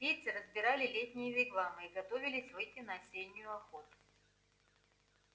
индейцы разбирали летние вигвамы и готовились выйти на осеннюю охоту